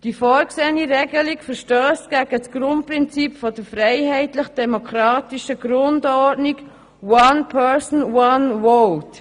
Die vorgesehene Regelung verstösst gegen das Grundprinzip der freiheitlich-demokratischen Grundordnung «one person, one vote».